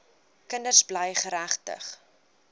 kinders bly geregtig